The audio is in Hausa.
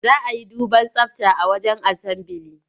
Za a yi duban tsabta a wajen asambili.